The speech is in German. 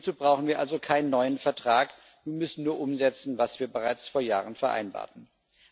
Hierzu brauchen wir also keinen neuen Vertrag, wir müssen nur umsetzen, was wir bereits vor Jahren vereinbart haben.